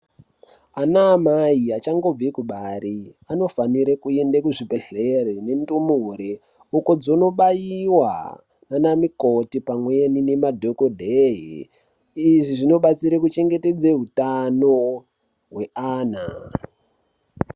Ana amai achangobve kubara, anofanire kuyenda kuzvibhedhlere nendumure uko dzinobayiwa nana mikoti pamweni nana dhokodheye, izvi zvinobatsire kuchengetedze hutano hweana.